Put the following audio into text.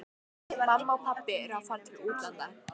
Mamma og pabbi eru að fara til útlanda.